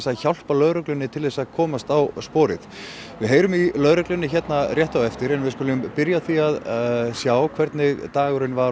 að hjálpa lögreglunni til að komast á sporið við heyrum í lögreglunni hér á eftir en byrjum á því að sjá hvernig dagurinn var